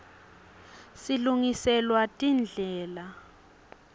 silungiselwa tindlela